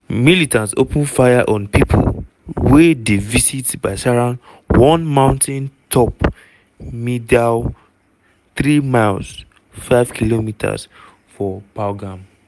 militants open fire on pipo wey dey visit baisaran one mountain-top meadow three miles (5 km) from pahalgam.